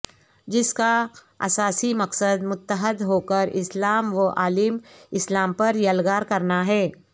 جس کااساسی مقصد متحد ہوکر اسلام وعالم اسلام پر یلغار کرنا ہے